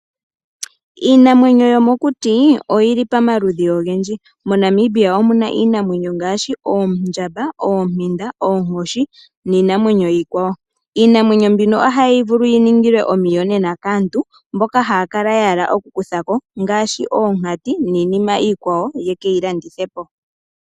Iinamwenyo yomokuti oyili pamaludhi ogendji. MoNamibia omuna iimamwenyo oyindji ngaashi oondjamba, oompinda, oonkoshi niinamwenyo iikwawo. Iinamwenyo mbino ohayi vulu yiningilwe omiyonena kaantu mboka haya kala ya hala okukuthako ngaashi ominkati niinima iikwawo yekeyilandithepo.